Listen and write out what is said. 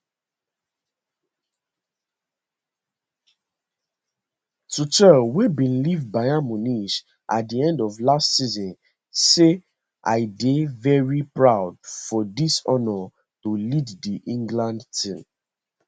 tuchel wey bin leave bayern munich at di end of last season say i dey very proud for dis honour to lead di england team